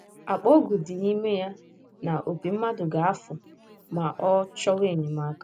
Akpa ọgwụ dị n’ime ya na opi mmadụ ga - afụ ma ọ chọwa enyemaka